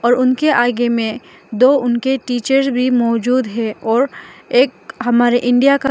और उनके आगे में दो उनके टीचर भी मौजूद है और एक हमारे इंडिया का --